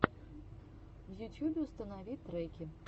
в ютьюбе установи треки